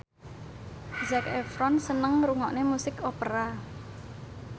Zac Efron seneng ngrungokne musik opera